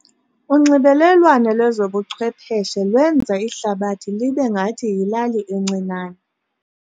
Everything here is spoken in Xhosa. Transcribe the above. Unxibelelwano lwezobuchwepheshe lwenza ihlabathi libe ngathi yilali encinane.